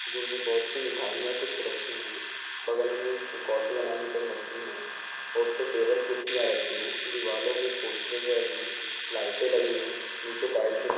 जिनमें बहुत सी मिठाइयाँ रखी हुई है बगल में एक कॉफी बनाने का एक मशीन है टेबल कुर्सियां रखी है दीवाले भी पोस्टर वाली हैं लाईटे लगी हुई हैं नीचे टाइलस --